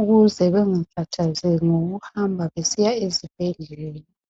ukuze bengakhathazeki ngokuhamba besiya ezibhedlela.